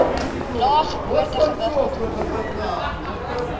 lae geboortegewig ontvang